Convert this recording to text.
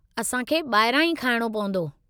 असां खे ॿाहिरां ई खाइणो पवंदो।